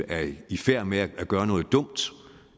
er i færd med at gøre noget dumt